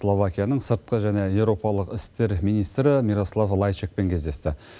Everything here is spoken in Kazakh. словакияның сыртқы және европалық істер министрі мирослав лайчакпен кездесті